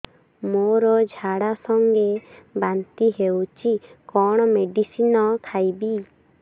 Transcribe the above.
ମୋର ଝାଡା ସଂଗେ ବାନ୍ତି ହଉଚି କଣ ମେଡିସିନ ଖାଇବି